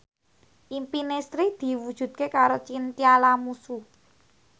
impine Sri diwujudke karo Chintya Lamusu